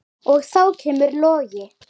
Og þá kemur Logi.